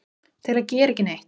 til að gera ekki neitt